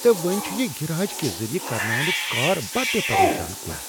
تہٕ وۄنۍ چھ یہ گٔراج کہ ذریعہٕ کرناونک کار بٔڈ پریشٲنی۔